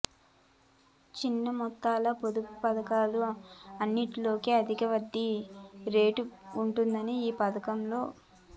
చిన్న మొత్తాల పొదుపు పతకాలు అన్నింటిలోకి అధిక వడ్డీ రేటు ఉంటుంది ఈ పథకంలో